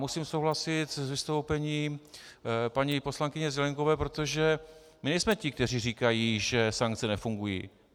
Musím souhlasit s vystoupením paní poslankyně Zelienkové, protože my nejsme ti, kteří říkají, že sankce nefungují.